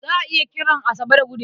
Za a iya kiran Asabe da Gude.